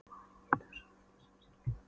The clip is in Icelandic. Og maður getur svo sem skilið það.